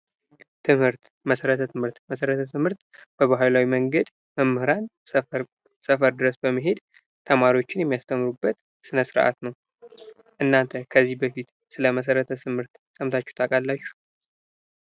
ትምህርት መሰረተ ትምህርት መሰረተ ትምህርት በባህላዊ መንገድ መምህራን ሰፈር ድረስ በመሄድ ተማሪዎችን የሚያስተምሩበት ስነስርአት ነው? እናተ ከዚህ በፊት ስለመሰረተ ትምህርት ሰምታችሁ ታውቃላችሁ?